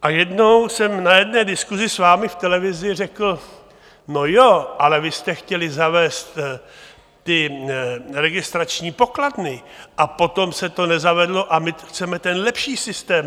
A jednou jsem na jedné diskusi s vámi v televizi řekl no ano, ale vy jste chtěli zavést ty registrační pokladny a potom se to nezavedlo a my chceme ten lepší systém.